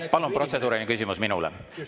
Palun protseduuriline küsimus minule.